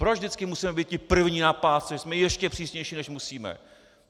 Proč vždycky musíme být ti první na pásce, že jsme ještě přísnější, než musíme?